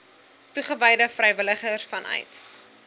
toegewyde vrywilligers vanuit